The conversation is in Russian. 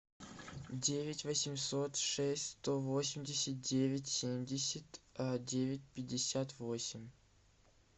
девять восемьсот шесть сто восемьдесят девять семьдесят девять пятьдесят восемь